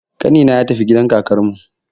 Ƙanina ya tafi gidan kakarmu